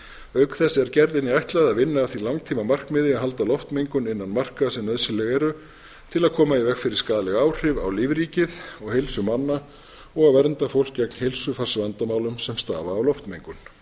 auk þess er gerðinni ætlað að vinna að því langtímamarkmiði að halda loftmengun innan marka sem nauðsynleg eru til að koma í veg fyrir skaðleg áhrif á lífríkið og heilsu manna og að vernda fólk gegn heilsufarsvandamálum sem stafa af loftmengun